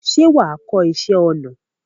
ṣé wà á kọ́ iṣẹ́ ọnà?